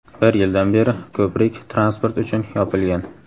Bir yildan beri ko‘prik transport uchun yopilgan.